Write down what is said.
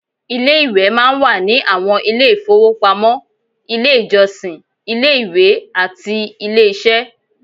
Ilé-ìwẹ̀ máa ń wà ní àwọn ilé-ìfowópamọ́, ilé-ìjọsìn, ilé-ìwé, àti ilé-iṣẹ́